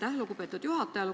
Aitäh, lugupeetud juhataja!